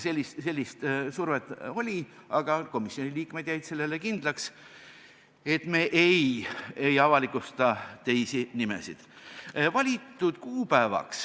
Sellist survet oli, aga komisjoni liikmed jäid enesele kindlaks, et me ei avalikusta teisi nimesid.